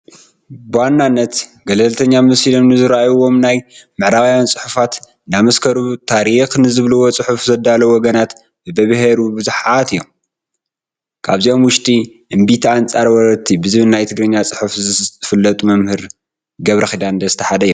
ብዋናነት ገልተኛ መሲሎም ንዝርአዩዎም ናይ ምዕራባውያን ፅሑፋት እንዳመሳኸሩ ታሪክ ንዝብልዎ ፅሑፍ ዘዳዉ ወገናት በብብሄሩ ብዙሓት እዮም፡፡ ካብዚኦም ውሽጢ እምቢታ ኣንፃር ወረርቲ ብዝብል ናይ ትግርኛ ፅሑፍ ዝፍለጡ መምህር ገብረኺዳን ደስታ ሓደ እዮም፡፡